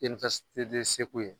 de Segu ye